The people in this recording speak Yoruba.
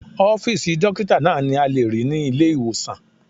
Ọ́fìsì dókítà náà ni a lè rí ní ilé-ìwòsàn